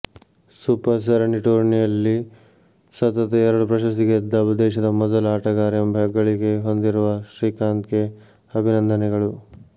super ಸರಣಿ ಟೂರ್ನಿಯಲ್ಲಿ ಸತತ ಎರಡು ಪ್ರಶಸ್ತಿ ಗೆದ್ದ ದೇಶದ ಮೊದಲ ಆಟಗಾರ ಎಂಬ ಹೆಗ್ಗಳಿಕೆ ಹೊಂದಿರುವ ಶ್ರೀಕಾಂತ್ಗೆ ಅಭಿನಂದನೆಗಳು